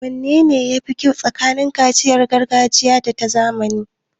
Wanne ya fi kyau tsakanin kaciya ta gargajiya da ta zamani?